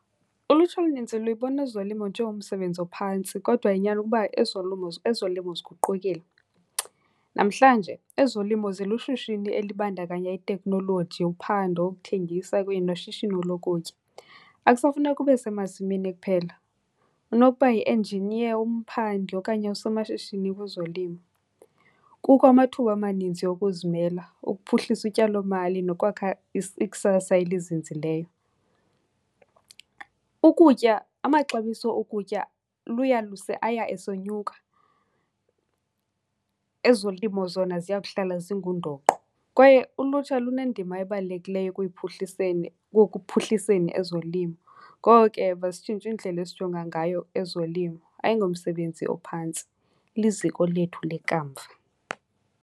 Ulutsha olunintsi luyibona ezolimo njengomsebenzi ophantsi kodwa inyani ukuba ezolimo ziguqukile. Namhlanje ezolimo zilushishini elibandakanya itekhnoloji, uphando, ukuthengisa kunye noshishino lokutya. Akusafuneki ube semasimini kuphela, unokuba yi-engineer, umphandi okanye usomashishini kwezolimo. Kukho amathuba amaninzi okuzimela, ukuphuhlisa utyalomali nokwakha ikusasa elizinzileyo. Ukutya, amaxabiso okutya aya esonyuka. Ezolimo zona ziyakuhlala zingundoqo kwaye ulutsha lunendima ebalulekileyo ekuyiphuhliseni, wokuphuhliseni ezolimo. Ngoko ke masitshintshe indlela esijonga ngayo ezolimo. Ayingomsebenzi ophantsi, liziko lethu lekamva.